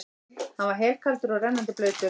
Hann var helkaldur og rennandi blautur.